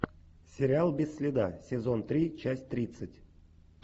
сериал без следа сезон три часть тридцать